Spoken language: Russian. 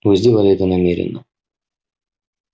вы сделали это намеренно